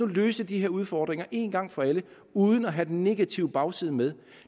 løse de her udfordringer en gang for alle uden at have den negative bagside med